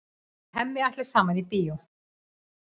Þau Hemmi ætla saman í bíó.